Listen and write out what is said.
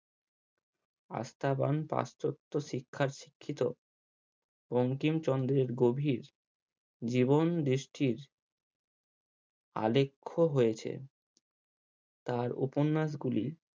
আস্থাবান পশ্চত্য শিক্ষায় শিক্ষিত বঙ্কিমচন্দ্রের গভীর জীবন দৃষ্টির আলেখ্য হয়েছে তার উপন্যাস গুলি